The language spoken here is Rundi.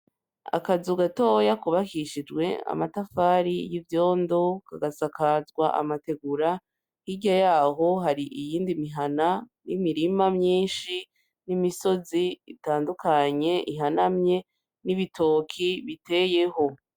Akazu gatoya kubakishijwe amatafari y'ivyondo, kagasakazwa amategura, hirya yaho hari iyindi mihana n'imirima myinshi n'imisozi itandukanye ihanamye n'ibitoki biteyeho.